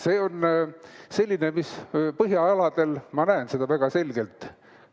See on selline asi, mida ma põhjaaladel näen väga selgelt.